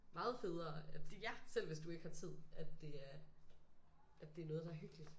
Meget federe at selv hvis du ikke har tid at det er at det er noget der er hyggeligt